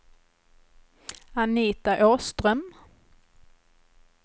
Anita Åström